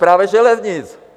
Správě železnic!